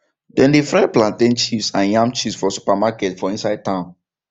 them dey fry plantain chips and yam chips for supermarkets for inside town